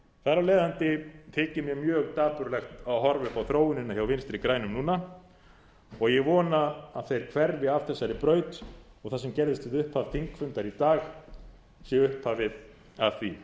þar af leiðandi þykir mér mjög dapurlegt að horfa upp á þróunina hjá vinstri grænum núna og ég vona að þeir hverfi af þessari braut og það sem gerðist við upphaf þingfundar í dag sé upphafið að því